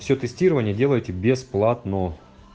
все тестирование делайте бесплатно